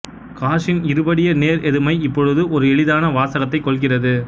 காஸின் இருபடிய நேர் எதிர்மை இப்பொழுது ஒரு எளிதான வாசகத்தைக்கொள்கிறது